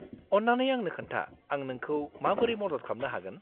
-अन्नानै आंनो खोन्था आं नोंखौ माबोरै मदद खालामनो हागोन।